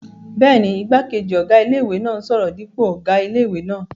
Bẹ́ẹ̀ni, igbákejì ọ̀gá ilé-ìwé náà n sọ̀rọ̀ dípò ọ̀gá ilé-ìwé náà